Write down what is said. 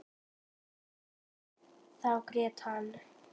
Þá grét hann.